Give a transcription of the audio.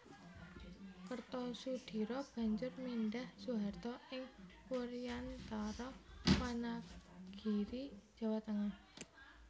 Kertosudiro banjur mindhah Soeharto ing Wuryantara Wanagiri Jawa Tengah